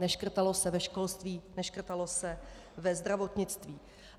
Neškrtalo se ve školství, neškrtalo se ve zdravotnictví.